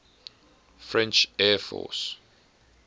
french air force